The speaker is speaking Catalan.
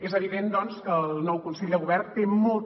és evident doncs que el nou consell de govern té molta